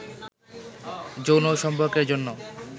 যৌন সম্পর্কের জন্য